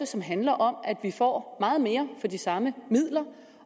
som handler om at vi får meget mere for de samme midler